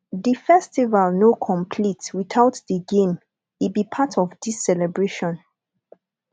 di festival no complete witout di game e be part of dis celebration